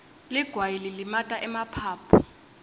ligwayi lilimata emaphaphu